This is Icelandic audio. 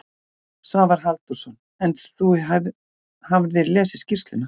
Svavar Halldórsson: En þú hafðir lesið skýrsluna?